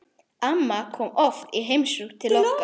Amma kom oft til okkar.